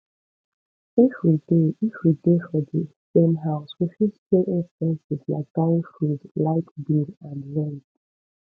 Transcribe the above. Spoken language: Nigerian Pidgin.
if we dey if we dey for di same house we fit share expenses like buying food light bill and rent